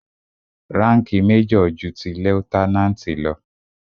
Ránkìì major ju ti lieutenant lọ.